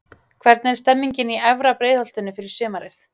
Hvernig er stemningin í efra Breiðholtinu fyrir sumarið?